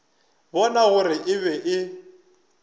bona gore e be e